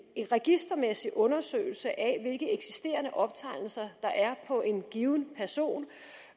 registermæssig undersøgelse af hvilke eksisterende optegnelser der er på en given person